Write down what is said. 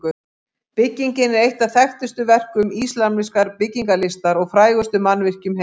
Byggingin er eitt af þekktustu verkum íslamskrar byggingarlistar og frægustu mannvirkjum heims.